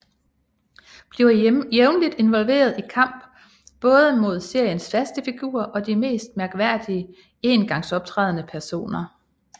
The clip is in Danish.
Bliver jævnligt involveret i kamp både mod seriens faste figurer og de mest mærkværdige engangsoptrædende personer